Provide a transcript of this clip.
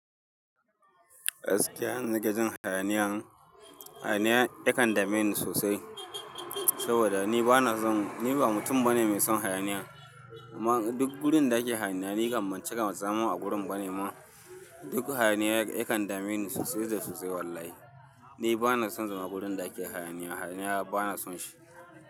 Gaskiya zan ɗinga jin hayaniya. Hayaniya yakan dame ni sosai saboda ni bana son, ni ba mutum bane mai son hayaniya. Amma duk gurin da ake hayaniya ni ƙammace ƙam zamu a gurin bane ma. Duk hayaniya yakan dame ni sosai da sosai wallahi. Ni bana son zama gurin da ake hayaniya. Hayaniya bana son shi.